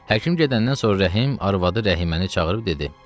Həkim gedəndən sonra Rəhim arvadı Rəhiməni çağırıb dedi: